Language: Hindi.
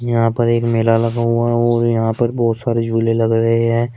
यहां पर एक मेला लगा हुआ है और यहां पर बहोत सारे झूले लग रहे हैं।